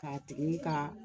K'a tigi ka